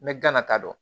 N bɛ gana ta dɔn